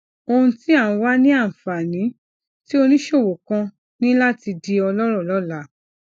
ohun tí à ń wá ni anfani tí oníṣòwò kan ní láti di ọlọrọ lọla